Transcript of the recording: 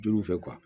Juru fɛ